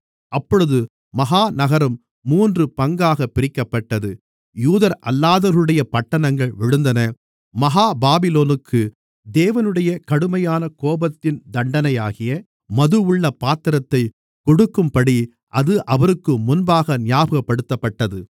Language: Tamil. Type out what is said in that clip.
அப்பொழுது மகா நகரம் மூன்று பங்காகப் பிரிக்கப்பட்டது யூதரல்லாதவர்களுடைய பட்டணங்கள் விழுந்தன மகா பாபிலோனுக்கு தேவனுடைய கடுமையான கோபத்தின் தண்டனையாகிய மதுவுள்ள பாத்திரத்தைக் கொடுக்கும்படி அது அவருக்கு முன்பாக ஞாபகப்படுத்தப்பட்டது